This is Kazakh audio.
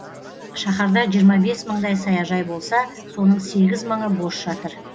шаһарда жиырма бес мыңдай саяжай болса соның сегіз мыңы бос жатыр